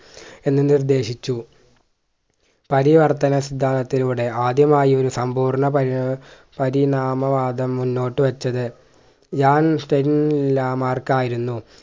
എന്നു നിർദ്ദേശിച്ചു പരിവർത്തന സിന്ധാന്തത്തിലൂടെ ആദ്യമായി സമ്പൂർണ പരി ഏർ പരിണാമ വാദം മുന്നോട്ടു വെച്ചത് മാർക്കായിരുന്നു